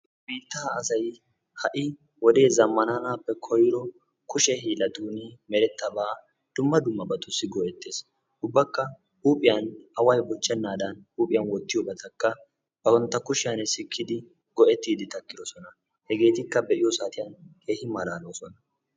Biittaa asay ha"i wodee zammaananaappe koyro kushe hiillattuuni merettabaa dumma dummabattussi go"etees. Ubbakka huuphiyan away bochchenaadan huuphiyan wottiyobatakka bantta kushiyan sikkidi go"ettiiddi takkidosona. Hegeetikka be'iyo saatiyan keehi malaalosona.